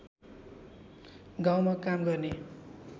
गाउँमा काम गर्ने